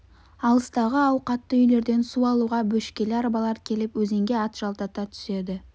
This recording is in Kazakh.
алыстағы ауқатты үйлерден су алуға бөшкелі арбалар келіп өзенге ат жалдата түседі